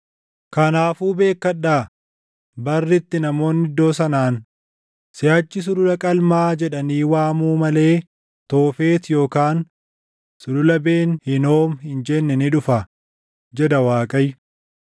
Kanaafuu beekkadhaa; barri itti namoonni iddoo sanaan, siʼachi Sulula Qalmaa jedhanii waamuu malee Toofet yookaan Sulula Ben Hinoom hin jenne ni dhufa, jedha Waaqayyo.